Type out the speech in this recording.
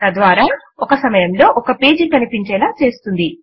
తద్వారా ఒక సమయంలో ఒక పేజీ కనిపించేలా చేస్తుంది